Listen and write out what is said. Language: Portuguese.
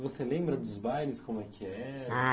Você lembra dos bailes, como é que era? Ah